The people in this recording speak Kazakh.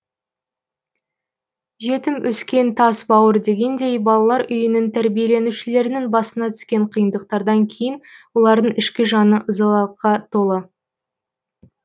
жетім өскен тас бауыр дегендей балалар үйінің тәрбиеленушілерінің басына түскен қиындықтардан кейін олардың ішкі жаны ызалылыққа толы